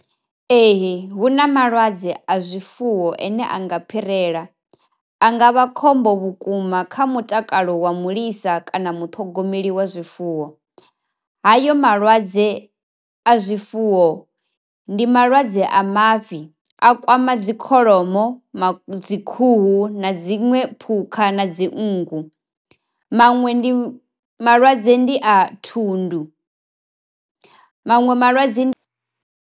Ee hu na malwadze a zwifuwo ane a nga phirela, a nga vha khombo vhukuma kha mutakalo wa mulisa kana muṱhogomeli wa zwifuwo. Hayo malwadze a zwifuwo ndi malwadze a mafhi a kwama dzikholomo, dzikhuhu, na dziṅwe phukha na dzi nngu. Maṅwe ndi malwadze ndi a thundu maṅwe malwadze.